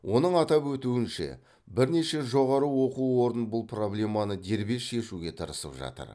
оның атап өтуінше бірнеше жоғары оқу орнын бұл проблеманы дербес шешуге тырысып жатыр